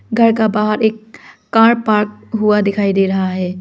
घर का बाहर एक कार पार्क हुआ दिखाई दे रहा है।